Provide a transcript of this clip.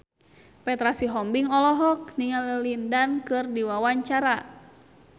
Petra Sihombing olohok ningali Lin Dan keur diwawancara